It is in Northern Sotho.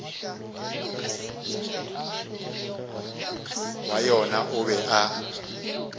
wa yona o be a